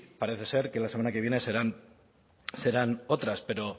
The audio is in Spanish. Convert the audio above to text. parece ser que la semana que viene serán otras pero